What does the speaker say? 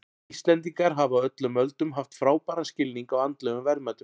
Íslendingar hafa á öllum öldum haft frábæran skilning á andlegum verðmætum.